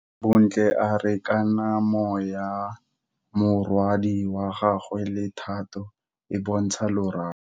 Bontle a re kamanô ya morwadi wa gagwe le Thato e bontsha lerato.